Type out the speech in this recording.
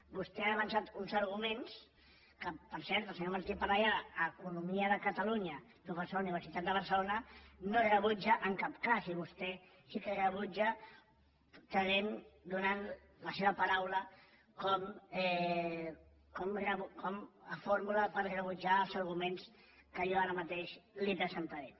vostè ha avançat uns arguments que per cert el senyor martí parellada a economia de catalunya professor de la universitat de barcelona no rebutja en cap cas i vostè sí que rebutja donant la seva paraula com a fórmula per rebutjar els arguments que jo ara mateix li presentaré